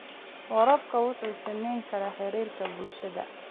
Waraabka wuxuu saameyn karaa xiriirka bulshada.